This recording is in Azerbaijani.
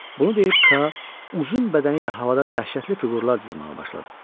Bunu deyib Ka uzun bədəni ilə havada dəhşətli fiqurlar cızmağa başladı.